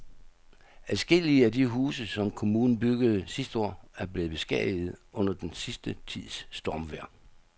Adskillige af de huse, som kommunen byggede sidste år, er blevet beskadiget under den sidste tids stormvejr.